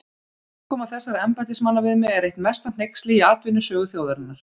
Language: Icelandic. Framkoma þessara embættismanna við mig er eitt mesta hneyksli í atvinnusögu þjóðarinnar.